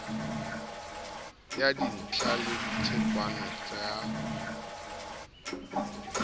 ya dintla le tsepamo ya